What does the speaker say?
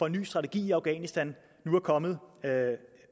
en ny strategi i afghanistan nu er kommet